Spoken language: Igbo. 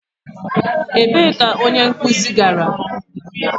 Ebee ka onye nkuzi gara?